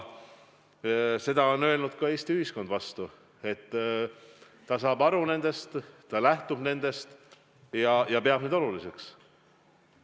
Ja Eesti ühiskond on vastu öelnud, et ta saab nendest aru, ta lähtub nendest ja peab neid oluliseks.